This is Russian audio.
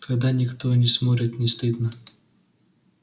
когда никто не смотрит не стыдно